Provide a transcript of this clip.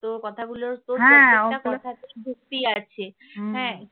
তোর কথাগুলো তোর প্রত্যেকটা কথাতেই যুক্তি আছে হ্যাঁ